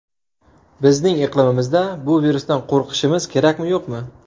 Bizning iqlimimizda bu virusdan qo‘rqishimiz kerakmi, yo‘qmi?